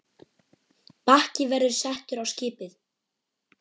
Bakki verður settur á skipið.